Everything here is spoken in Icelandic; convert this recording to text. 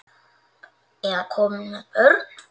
Eða komin með börn?